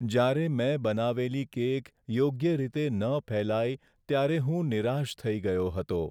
જ્યારે મેં બનાવેલી કેક યોગ્ય રીતે ન ફેલાઈ, ત્યારે હું નિરાશ થઈ ગયો હતો.